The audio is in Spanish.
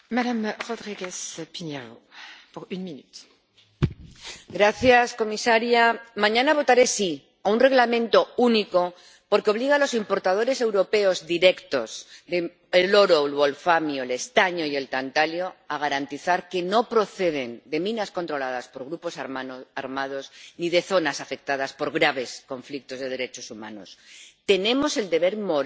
Señora presidenta. Comisaria. Mañana votaré sí a un Reglamento único, porque obliga a los importadores europeos directos de oro, wolframio, estaño y tantalio a garantizar que no proceden de minas controladas por grupos armados ni de zonas afectadas por graves conflictos de derechos humanos. Tenemos el deber moral